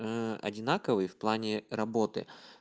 одинаковые в плане работы